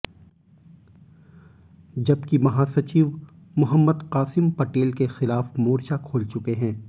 जबकि महासचिव मोहम्मद कासिम पटेल के खिलाफ मोर्चा खोल चुके हैं